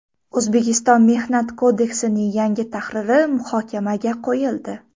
O‘zbekiston Mehnat kodeksining yangi tahriri muhokamaga qo‘yildi.